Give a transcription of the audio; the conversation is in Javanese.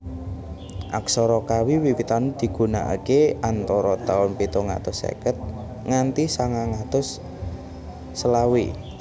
Aksara Kawi Wiwitan digunakaké antara taun pitung atus seket nganti sangang atus selawe